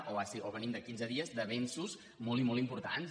o venim de quinze dies d’avenços molt i molt importants